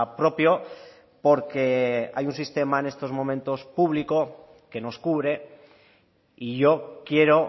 propio porque hay un sistema en estos momentos público que nos cubre y yo quiero